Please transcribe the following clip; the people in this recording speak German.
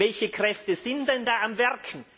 Welche Kräfte sind denn da am Werk?